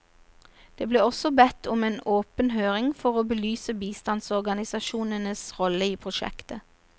Det ble også bedt om en åpen høring for å belyse bistandsorganisasjonenes rolle i prosjektet.